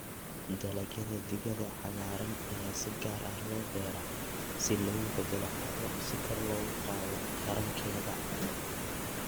Dalagyada digada cagaaran ayaa si gaar ah loo beeraa si loogu beddelo carro si kor loogu qaado tarankeeda.